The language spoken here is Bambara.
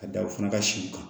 Ka da u fana ka siw kan